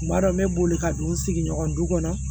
N b'a dɔn n bɛ boli ka don n sigiɲɔgɔn du kɔnɔ